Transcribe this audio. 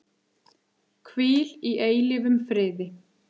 Hvíl í eilífum friði.